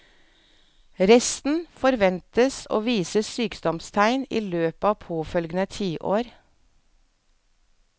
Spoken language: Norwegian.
Resten forventes å vise sykdomstegn i løpet av påfølgende tiår.